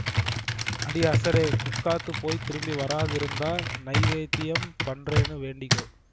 அடி அசடே புக்காத்துக்கு போய் திரும்பி வராதிருந்தா நைவேத்யம் பண்றேன்னு வேண்டிக்கோ